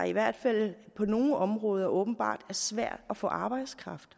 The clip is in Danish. i hvert fald på nogle områder åbenbart er svært at få arbejdskraft